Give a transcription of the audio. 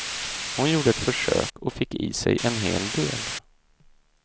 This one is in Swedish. Hon gjorde ett försök och fick i sig en hel del.